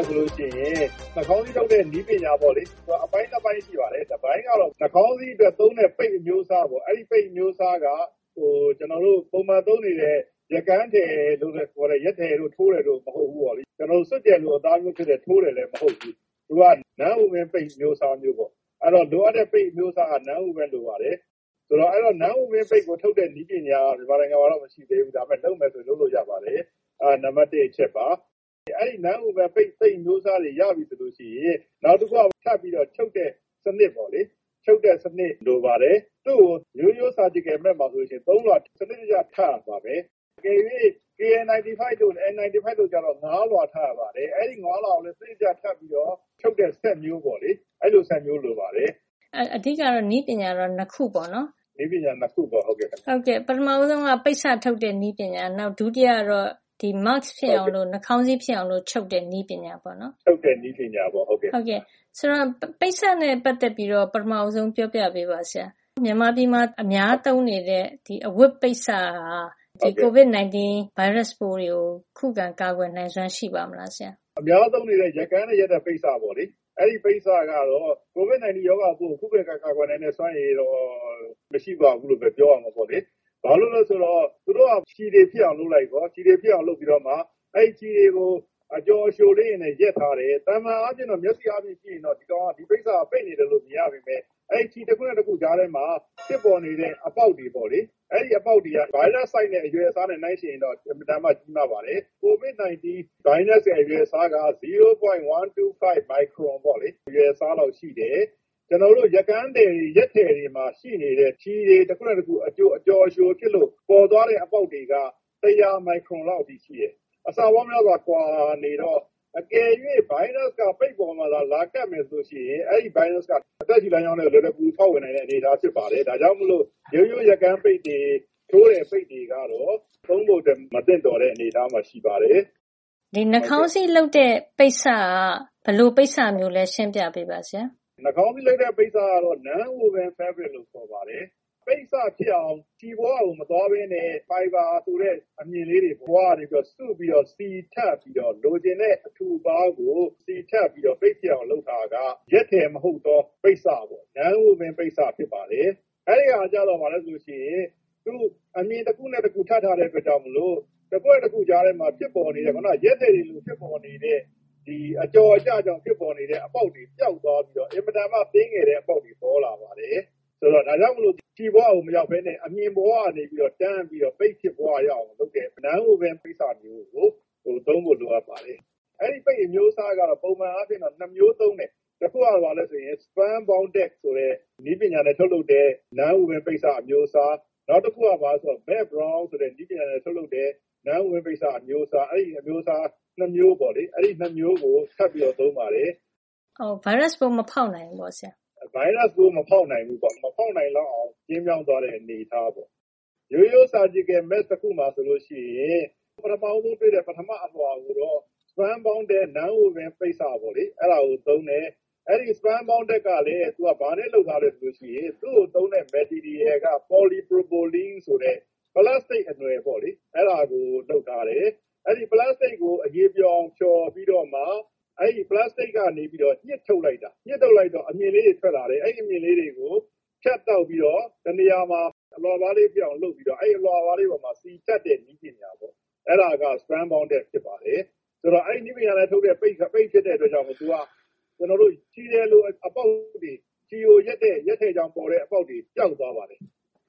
ယ် ဆိုလို့ရှိရင် နှာခေါင်းစည်းထုတ်တဲ့ နည်းပညာပေါ့လေ၊ သူက အပိုင်း ၂ ပိုင်းရှိပါတယ်။ တပိုင်းကတော့ နှာခေါင်းစည်း အတွက် သုံးတဲ့ ပိတ်အမျိုးအစားပေါ့။ အဲဒီပိတ်အမျိုးအစားက ကျနော်တို့ ပုံမှန်သုံးနေတဲ့ ရက်ကန်းထည်လို့ ခေါ်တဲ့ ရက်ထည်တို့ ကြိုးထည်တို့ မဟုတ်ဖူး၊ စွပ်ကျယ်လို အသားမျိုးဖြစ်တဲ့ ကြိုးထည်လည်း မဟုတ်ဖူး။ သူက non-woven ပိတ်အမျိုးအစားမျိုးပေါ့။ အဲဒီလိုပေါ့ လိုအပ်တဲ့ ပိတ်အမျိုးအစားက non-woven လိုပါတယ်။ ဒီ non-woven ကိုထုတ်တဲ့ နည်းပညာက မြန်မာနိုင်ငံမှာတော့ မရှိသေးဘူး။ ဒါပေမယ့် လုပ်မယ် ဆိုရင်တော့ လုပ်လို့ရပါတယ်။ အဲဒါက နံပတ် ၁ အချက်ပါ။ အဲဒီ ရက်ထည်မဟုတ်တဲ့ non-woven ပိတ်အမျိုးအစားကို ရပြီဆိုရင် နောက်တခုက စပြီး ချုပ်တဲ့ စံနစ်ပေါ့လေ။ ချုပ်တဲ့စံနစ် လိုပါတယ်။ သူ့ကို ရိုးရိုး surgical mask - ခွဲစိတ်ခန်းသုံး နှာခေါင်းစည်းမှာ ဆိုရင် ၃ လွှာ စံနစ်တကျ ထပ်ရပါတယ်။ တကယ်လို့ KN- 95 တို့ N-95 တို့ ဆိုရင်တော့ ၅ လွှာ ထပ်ရပါတယ်။ အဲဒီ ၅ လွှာကို စံနစ်တကျ ထပ်ပြီးတော့ ထုတ်တဲ့ စက်မျိုးပေါ့လေ။ အဲဒီလို စက်မျိုး လိုပါတယ်။” “အဲဒါဆို နည်းပညာက အဓိက ၂ ခုပေါ့နော်။” “ဟုတ်ကဲ့ ၂ ခုပါ။” “ပထမဆုံးက ပိတ်စထုတ်တဲ့ နည်းပညာ၊ ဒုတိယကတော့ ဒီ mask ဖြစ်အောင် နှာခေါင်းစည်း ဖြစ်အောင် ချုပ်တဲ့ နည်းပညာပေါ့။ ဆိုတော့ ပိတ်စနဲ့ ပတ်သက်ပြီး ပထမ ပြောပြပေးပါဆရာ။ မြန်မာပြည်မှာ အများသုံးနေတဲ့ အဝတ်ပိတ်စက ဒီကိုဗစ် ၁၉ ဗိုင်းရပ်စ်ပိုးကို ခုခံကာကွယ်နိုင်စွမ်း ရှိပါ့မလားဆရာ” “အများသုံးနေတဲ့ ရက်ကန်းနဲ့ ရက်တဲ့ပိတ်စပေါ့လေ။ အဲဒီပိတ်စကတော့ ကိုဗစ် ၁၉ ရောဂါပိုးကို ခုခံကာကွယ်နိုင်တဲ့ စွမ်းအင်တော့ မရှိပါဘူးလို့ပဲ ပြောရမှာ ပေါ့လေ။ ဘာလို့လည်း ဆိုတော့ သူတို့က ချည်ထည်ဖြစ်အောင်လုပ်လိုက်ရော၊ ပြီးတော့မှ အဲဒီချည်တွေကို အကျော် အကြိုလေးတွေနဲ့ ရက်ထားတယ်။ သာမန် မျက်စိအားနဲ့ကြည့်ရင်တော့ ဒီပိတ်စက ပိတ်နေတယ်လို့ မြင်ရပေမယ့် အဲ့ဒီ ချည် တခုနဲ့ တခု ကြားထဲမှာ ဖြစ်ပေါ်နေတဲ့ အပေါက်တွေ ပေါ့လေ။ အဲဒီ အပေါက်တွေက ဗိုင်းရပ်စ် အရွယ်အစားနဲ့ နှိုင်းယှဉ်ရင်တော့ အင်မတန်မှ ကြီးမားပါတယ်။ ကိုဗစ် ၁၉ ဗိုင်းရပ်စ်ရဲ့ အရွယ်အစားက ဝ.၁၂၅ မိုက်ခရွန် အရွယ်အစားနဲ့ ရှိနေတယ်။ ကျနော်တို့ ရက်ကန်း ရက်ထည်တွေမှာ ရှိနေတဲ့ ချည်တွေ တခုနဲ့တခု အကျော်အကြိုဖြစ်လို့ ပေါ်လာတဲ့ အပေါက်တွေက ၁၀၀ မိုက်ခရွန်လောက် အထိ ရှိတယ်။ အဆက အဲဒီလောက်ကွာနေတော့ တကယ်လို့ ဗိုင်းရပ်စ်က ပိတ်ပေါ်မှာ လာကပ်မယ် ဆိုရင် အဲဒီ ဗိုင်းရပ်စ်က အသက်ရှုလမ်းကြောင်းထဲကို လွယ်လွယ်ကူကူ ဖေါက်ဝင်နိုင်မယ့် အနေထား ဖြစ်ပါတယ်။ ဒါကြောင့်မို့ ရိုးရိုးရက်ကန်းပိတ်တွေ၊ ထိုးတဲ့ပိတ်တွေကတော့ သုံးဖို့အတွက် မသင့်တော်တဲ့ အနေအထားမှာ ရှိပါတယ်။” “အဲဒါဆို နှာခေါင်းစည်းလုပ်တဲ့ ပိတ်စက ဘယ်လိုပိတ်စလဲ ရှင်းပြပေးပါဆရာ။” “နှာခေါင်းစည်း လုပ်တဲ့ ပိတ်စကတော့ non-woven fabric ရက်ထည်မဟုတ်တဲ့ ပိတ်စ ဖြစ်ပါတယ်။ ပိတ်စဖြစ်အောင် လုပ်တဲ့ အခါမှာ ချည်ဘဝကို မသွားပဲနဲ့ ဖိုင်ဘာ ဆိုတဲ့ အမ ျှင်ကလေးတွေ ဘဝက နေပြီးတော့ စုပြီးတော့ လိုချင်တဲ့ အထူအပါးကို စီထပ်ပြီးတော့ ပိတ်ဖြစ်အောင် လုပ်ထားတာပါ။ ရက်ထည် မဟုတ်သော ပိတ်စပေါ့ non-woven ပိတ်စ ဖြစ်ပါတယ်။ အဲဒါကျတော့ ဘာလဲဆိုရင် အမ ျှင်တခုနဲ့ တခု ထပ်ထားတဲ့ ကိစ္စမို့လို့ အကွက် ၂ ခု ကြားထဲမှာ ဖြစ်ပေါ်နေတဲ့၊ ရက်ထည်တွေလို ဖြစ်ပေါ်နေတဲ့၊ ဒီ အကျော် အကျကြောင့် ဖြစ်ပေါ်နေတဲ့ အပေါက်က ပျောက်သွားပြီးတော့ အင်မတန်မှ သေးငယ်တဲ့ အပေါက်တွေ ပေါ်လာပါတယ်။ ဒါကြောင့်မို့လို့ ချည်ဘဝကို မရောက်ပဲနဲ့. အမ ျှင်ဘဝက နေပြီးတော့ တန်းပြီးတော့ ပိတ်ဖြစ်သွားရအောင် လုပ်တဲ့ non-woven ပိတ်စတွေကို သုံးဖို့ လိုအပ်ပါတယ် အဲဒီ ပိတ်အမျိုးအစားက ပုံမှန်အားဖြင့် ၂ မျိုး သုံးတယ်။ တခုက ဘာလဲဆိုရင် spun bonded ဆိုတဲ့ နည်းပညာနဲ့ ထုတ်လုပ်တဲ့ non-woven ပိတ်စ အမျိုးအစား။ နောက်တခုက ဘာလဲဆိုရင် melt blown ဆိုတဲ့နည်းပညာနဲ့ ထုတ်တဲ့ non-woven ပိတ်စ အမျိုးအစား။ အဲဒီ ၂ မျိုးကို ထပ်ပြီးတော့ သုံးပါတယ်။” “ အဲဒါ။ ဗိုင်းရပ်စ်ပိုး မဖေါက်နိုင်ဘူးပေါ့ဆရာ။” “ဗိုင်းရပ်စ်ပိုး မဖေါက်နိုင်ဘူးပေါ့။ မဖေါက်နိုင်လောက်အောင် ကျဉ်းမြောင်းသွားတဲ့ အနေအထား။ ရိုးရိုး ခွဲစိပ်ခန်းသုံး နှာခေါင်းစည်း တခု မှာ ဆိုရင် ပထမဦးဆုံး တွေ့တဲ့. ပထမ အလွှာ ကိုတော့ spun bonded non-woven ပိတ်စကို သုံးတယ်။ အဲဒီ spun bonded က ဘာနဲ့လုပ်ထားသလဲ ဆိုရင် သူ့ကို သုံးတဲ့ပစ္စည်းက ပေါ်လီပရိုပလင်း ဆိုတဲ့ ပလပ်စတိတ် အနွယ်ပေါ့လေ။ အဲဒါကို လုပ်ထားတယ်။ အဲဒီ ပလပ်စတိတ်ကို အရည်ပျော်အောင် ဖျော်ပြီးတော့မှ အဲဒီ ပလပ်စတိတ်ကနေ ညှစ်ထုတ်လိုက်တာ။ ညှစ်ထုတ်လိုက်တော့ အမ ျှင်ကလေးတွေ ထွက်လာတယ်။ အဲဒီ အမ ျှင်ကလေးတွေကို ဖြတ်တောက်ပြီးတော့ တနေရာမှာ အလွှာပါးလေးဖြစ်အောင် လုပ်ပြီးတော့ အဲဒီ အလွှာပါးကလေးပေါ်မှာ စီထပ်တဲ့ နည်းပညာပေါ့နော်။ အဲဒါက spun bonded ဖြစ်ပါတယ်။ အဲဒီတော့ အဲဒီနည်းပညာနဲ့ ထုတ်တဲ့ ပိတ်ဖြစ်တဲ့ အတွက်ကြောင့်မို့၊ ချည်ထည်လို အပေါက်တွေ၊ ချည်ကို ရက်တဲ့ ရက်ထည်ကြောင့်ပါတဲ့ အပေါက်တွေ၊ ပျောက်သွားတာ ပေါ့နော်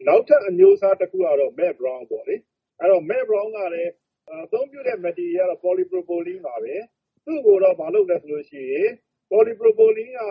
။ နောက်ထပ်အမျိုးအစား တခုကတော့ melt blown ပေါ့လေ။ သူက အသုံးပြုတဲ့ ပစ္စည်းကလည်း ပေါ်လီ ပရိုပလင်းပါပဲ။ သူ့ကိုလည်း ဘာလုပ်သလဲဆိုရင် အဲဒီ ပေါ်လီပရိုပလင်း ကို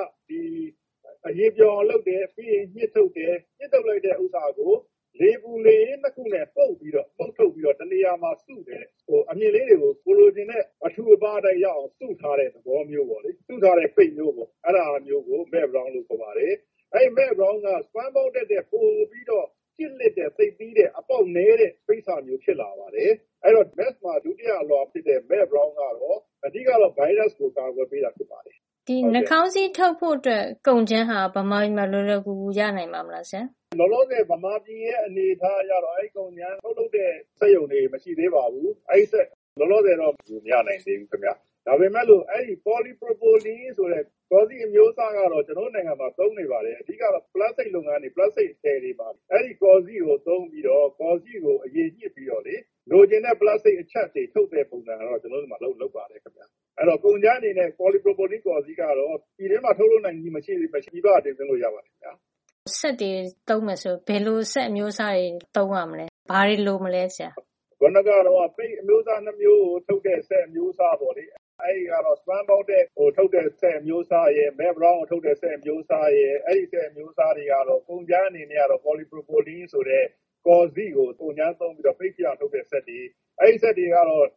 အရည်ပျော်အောင် လုပ်တယ်။ ပြီးရင်ညှစ်ထုတ်တယ်။ ညှစ်ထုတ်လိုက်တဲ့ ဥစ္စာကို လေပူလေအေး ၂ ခုနဲ့ ပုတ်ပြီးတော့ ညှစ်ထုတ်ပြီးတော့ တနေရာမှာ စုတယ်။ အမ ျှင်ကလေး တွေကို ကိုယ်လိုချင်တဲ့ အထူအပါး အတိုင်းရအောင် စုထားတဲ့ သဘောမျိုး ပဲလေ။ စုထားတဲ့ ပိတ်မျိုးပေါ့။ အဲဒါ မျိုးကို melt blown လို့ခေါ်ပါတယ်။ အဲဒီ melt blown က spun bonded ထက်ပိုပြီးတော့ ကျစ်လစ်တဲ့ သိပ်သည်းတဲ့ အပေါက်နဲတဲ့ ပိတ်စမျိုး ဖြစ်လာပါတယ်။ အဲဒီတော့ နှာခေါင်းစည်း mask မှာ ဒုတိယအလွှာ ဖြစ်တဲ့ melt blown ကတော့ အဓိက ဗိုင်းရပ်စ်ကို အကာကွယ် ပေးတာ ဖြစ်ပါတယ်။” “ဒီနှာခေါင်းစည်း ထုတ်ဖို့အတွက် ကုန်ကြမ်းဟာ မြန်မာပြည်မှာ လွယ်လွဝ်ကူကူ ရနိုင်ပါ့မလား ဆရာ” “လောလောဆယ် မြန်မာပြည်ရဲ့ အနေအထားကတော့ အဲဒီကုန်ကြမ်း ထုတ်လုပ်တဲ့ စက်ရုံတွေ မရှိသေးပါဘူး။ အဲဒီအတွက် လောလောဆယ်တော့ မရနိုင်သေးဘူး ခင်ဗျ။ ဒါပေမယ့်လို့ အဲဒီ ပေါ်လီပရိုပလင်း ဆိုတဲ့ ကော်စေ့ အမျိုးအစားကတော့ ကျနော်တို့ နိုင်ငံမှာ သုံးနေပါတယ်။ အဓိက ပလပ်စတိတ် လုပ်ငန်းတွေ ပလပ်စတိတ်ထည်တွေမှာ အဲဒီ ကော်စေ့ကို သုံးပြီးတော့၊ ကော်စေ့ကို အရည်ညှစ်ပြီးတော့ လိုချင်တဲ့ ပလပ်စတိတ် အချပ်တွေ ထုတ်တဲ့ ပုံစံကတော့ ကျနော်တို့ ဆီမှာ လုပ်ပါတယ်ခင်ဗျ။ အဲဒီတော့ ကုန်ကြမ်း အနေနဲ့ ပေါ်လီပရိုပလင်ကို ပြည်တွင်းမှာ ထုတ်လုပ်နိုင်ခြင်း မရှိပေမယ့် ပြည်ပက တင်သွင်းလို့ ရပါတယ်ခင်ဗျ။” “စက်တွေ သုံးရမယ်ဆိုရင် ဘယ်လို စက်အမျိုးအစားတွေ သုံးရမလဲ၊ ဘာတွေ လိုမလဲ ဆရာ။” “ခုနက တုန်းက ပိတ်အမျိုးအစား ၂ မျိုးကို ထုတ်တဲ့ စက်အမျိုးအစား ပေါ့လေ။ အဲဒါကတော့ spun bonded ကိုထုတ်တဲ့ စက်အမျိုးအစားရယ်၊melt blown ကိုထုတ်တဲ့ စက်အမျိုးစားရယ်၊ အဲဒီ စက်အမျိုးစားတွေအတွက် ကုန်ကြမ်းကတော့ ပေါ်လီ. ပရိုပလင်း ဆိုတဲ့ ကော်စေ့ကို ကုန်ကြမ်းသုံးပြီးတော့ ပိတ်ဖြစ်အောင် ထုတ်တဲ့ စက်တွေပါ။ အဲဒီ စက်တွေကတော့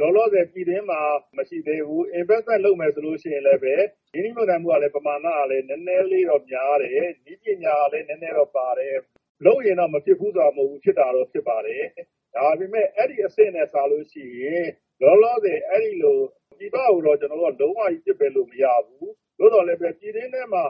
လောလောဆယ် ပြည်တွင်းမှာ မရှိသေးဘူး။ ရင်းနှီးမြှုပ်နှံမယ် ဆိုရင်လည်းပဲ ပမာဏက နဲနဲလေးတော့ များတယ်။ နည်းပညာကလည်း နဲနဲတော့ ပါတယ်။ လုပ်ရင်တော့ မဖြစ်ဖူး ဆိုတာ မဟုတ်ဖူး။ ဖြစ်တာတော့ ဖြစ်ပါတယ်။ ဒါပေမယ့် အဲဒီ အဆင့်နဲ့ စာလို့ရှိရင် လောလောဆယ် အဲဒီလို ပြည်ပကိုချည်းပဲ ကျနော်တို့က လုံးဝ ပစ်ပယ်လို့ မရဘူး။ သို့သော် အကယ်လို့ ပြည်တွင်းထဲမှာ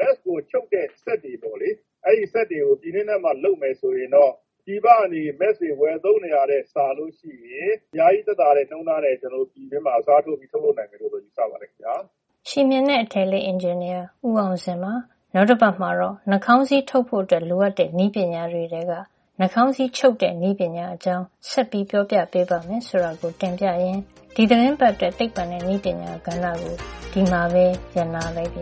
mask ကို ထုတ်တဲ့ စက်ကိုပေါ့လေ။ အဲလိုစက်တွေကို ပြည်တွင်းထဲမှာ လုပ်မယ် ဆိုရင်တော့ ပြည်ပကနေ နှာခေါင်းစည်း တွေ ဝယ်သုံးနေတာထက် စာလို့ရှိရင် အများကြီး သက်သာတဲ့ နှုန်းထားနဲ့ ကျနော်တို့ ပြည်တွင်းမှာ အစားထိုးပြီး ထုတ်လုပ် နိုင်မယ်လို့ ယူဆပါတယ် ခင်ဗျာ။” ချည်မ ျှင်နဲ့ အထည်အလိပ် အင်ဂျင်နီယာ ဦးအောင်ဇင်ပါ။ နောက်တပတ်မှာတော့ နှာခေါင်းစည်း ထုတ်ဖို့ လိုအပ်တဲ့ နည်းပညာတွေထဲက နှာခေါင်းစည်း ချုပ်တဲ့နည်းပညာ အကြောင်း ဆက် ပြောပြပေးမယ်ဆိုတာ တင်ပြရင်း ဒီသီတင်းပတ်အတွက် သိပ္ပွံနဲ့နည်းပညာကဏ္ဍကို ဒီမှာပဲ ရပ်နားလိုက်ပါ